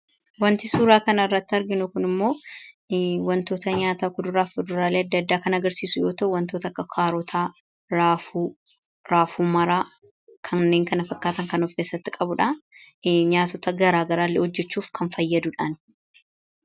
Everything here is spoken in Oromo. wanti suuraa kana irratti arginu kun immoo wantoota nyaataa kuduraaf fuduraalee adda addaa kana agarsiisu yoo ta'u wantoota akka kaarootaa, raafuumaraa, kanneen kana fakkaatan kan of keessatti qabuudha nyaatota garaa garaalle hojjechuuf kan fayyaduudhaan